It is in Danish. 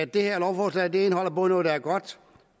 det her lovforslag indeholder både noget der er godt